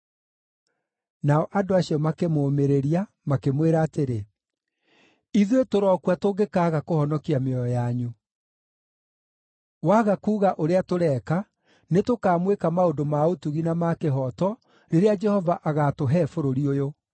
Nao andũ acio makĩmũmĩrĩria, makĩmwĩra atĩrĩ, “Ithuĩ tũrokua tũngĩkaaga kũhonokia mĩoyo yanyu! Waga kuuga ũrĩa tũreeka, nĩtũkaamwĩka maũndũ ma ũtugi na ma kĩhooto rĩrĩa Jehova agaatũhe bũrũri ũyũ.”